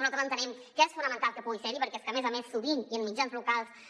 nosaltres entenem que és fonamental que pugui ser hi perquè és que a més a més sovint i en mitjans locals